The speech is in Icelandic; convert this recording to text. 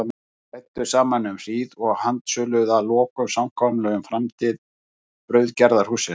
Þeir ræddu saman um hríð og handsöluðu að lokum samkomulag um framtíð brauðgerðarhússins.